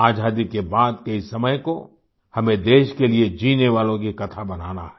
आज़ादी के बाद के इस समय को हमें देश के लिए जीने वालों की कथा बनाना है